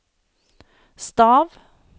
stav